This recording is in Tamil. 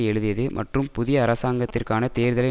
எழுதியது மற்றும் புதிய அரசாங்கத்திற்கான தேர்தலை